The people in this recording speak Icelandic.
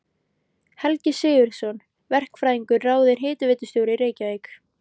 Helgi Sigurðsson verkfræðingur ráðinn hitaveitustjóri í Reykjavík.